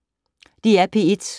DR P1